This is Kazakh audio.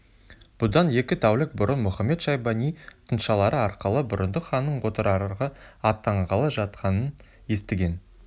бұдан екі тәулік бұрын мұхамед-шайбани тыңшылары арқылы бұрындық ханның отырарға аттанғалы жатқанын естіген